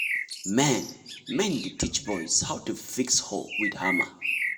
men men dey teach boys how to fix hoe with hammer.